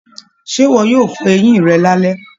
Ṣe iwọ yóò fọ eyin rẹ̀ lalẹ?